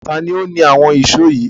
Ta ni ó ni àwọn ìṣó yìí?